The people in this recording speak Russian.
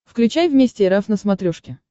включай вместе эр эф на смотрешке